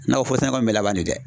Nakɔ foro sɛnɛko in bɛ laban ne dɛ.